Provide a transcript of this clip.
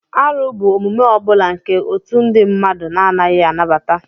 Árụ bụ omume ọ bụla nke otu ndị mmadụ na-anaghị anabata